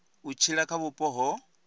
u tshila kha vhupo ho